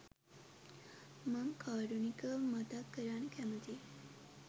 මං කාරුණිකව මතක් කරන්න කැමතියි.